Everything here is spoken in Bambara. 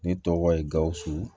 Ne tɔgɔ ye gawusu